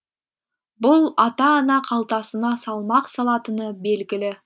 бұл ата ана қалтасына салмақ салатыны белгілі